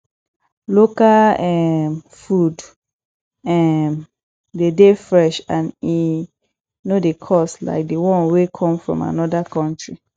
local um food um de dey fresh and e no dey cost like di one wey come from anoda country